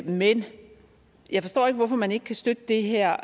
men jeg forstår ikke hvorfor man ikke kan støtte det her